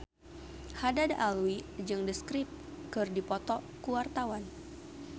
Haddad Alwi jeung The Script keur dipoto ku wartawan